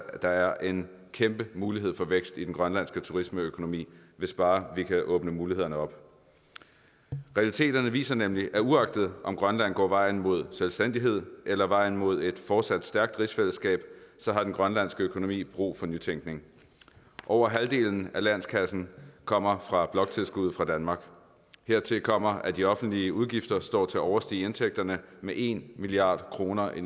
der er en kæmpe mulighed for vækst i den grønlandske turismeøkonomi hvis bare vi kan åbne mulighederne op realiteterne viser nemlig at uagtet om grønland går vejen mod selvstændighed eller vejen mod et fortsat stærkt rigsfællesskab har den grønlandske økonomi brug for nytænkning over halvdelen af landskassen kommer fra bloktilskuddet fra danmark hertil kommer at de offentlige udgifter står til at overstige indtægterne med en milliard kroner i